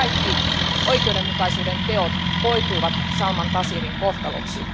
Nämä kaikki oikeudenmukaisuuden teot koituivat Salmaan Taseerin kohtaloksi.